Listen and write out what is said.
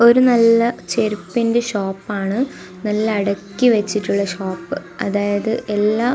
ഒരു നല്ല ചെരുപ്പിന്റെ ഷോപ്പാണ് നല്ല അടുക്കി വെച്ചിട്ടുള്ള ഷോപ്പ് അതായത് എല്ലാ--